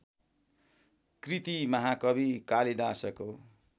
कृति महाकवि कालिदासको